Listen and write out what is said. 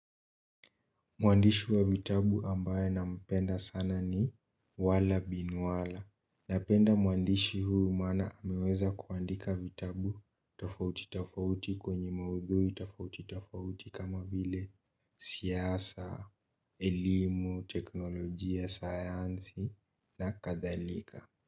Mwandishi wa vitabu ambaye nampenda ni wallah bin wallah. Napenda mwandishi huu maana ameweza kuandika vitabu tofauti tofauti kwenye maudhui tofauti tofauti kama vile siasa, elimu, teknolojia, sayansi na kadhalika.